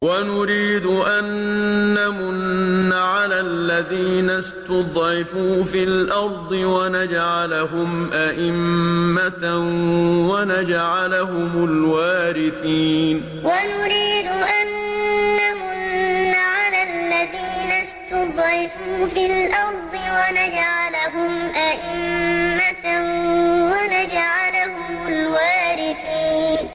وَنُرِيدُ أَن نَّمُنَّ عَلَى الَّذِينَ اسْتُضْعِفُوا فِي الْأَرْضِ وَنَجْعَلَهُمْ أَئِمَّةً وَنَجْعَلَهُمُ الْوَارِثِينَ وَنُرِيدُ أَن نَّمُنَّ عَلَى الَّذِينَ اسْتُضْعِفُوا فِي الْأَرْضِ وَنَجْعَلَهُمْ أَئِمَّةً وَنَجْعَلَهُمُ الْوَارِثِينَ